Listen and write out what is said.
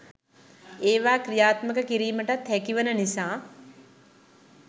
ඒවා ක්‍රියාත්මක කිරීමටත් හැකි වන නිසා